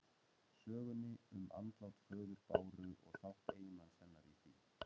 Sögunni um andlát föður Báru og þátt eiginmanns hennar í því.